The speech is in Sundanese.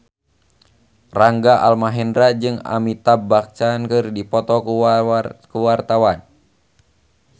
Rangga Almahendra jeung Amitabh Bachchan keur dipoto ku wartawan